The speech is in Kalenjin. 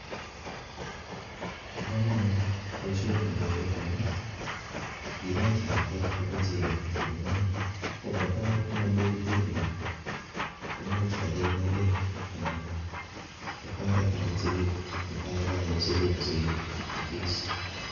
Bo komonut boishoni en kokwet amun kinet lakwet kokei chegoo kotakomingin, komutai komonekiten biik komuch kogei inekeen anan kotoretet okot chekee mutai kakayosekituun sigiik kogee